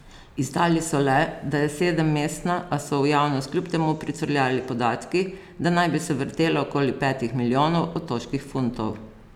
Izdali so le, da je sedemmestna, a so v javnost kljub temu pricurljali podatki, da naj bi se vrtela okoli petih milijonov otoških funtov.